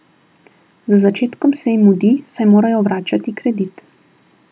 Z začetkom se jim mudi, saj morajo vračati kredit.